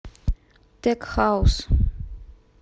тек хаус